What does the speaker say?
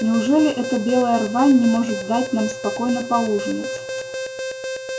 неужели эта белая рвань не может дать нам спокойно поужинать